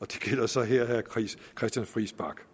gælder så her ministeren